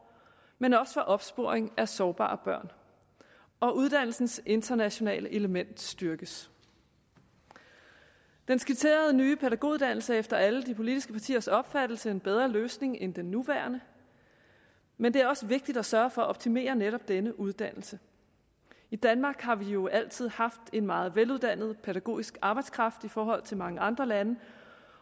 men også for opsporing af sårbare børn og uddannelsens internationale element styrkes den skitserede nye pædagoguddannelse er efter alle de politiske partiers opfattelse en bedre løsning end den nuværende men det er også vigtigt at sørge for at optimere netop denne uddannelse i danmark har vi jo altid haft en meget veluddannet pædagogisk arbejdskraft i forhold til mange andre lande